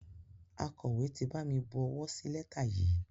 Akọ̀wé ti bami bu owó sí lẹ́tà yìí.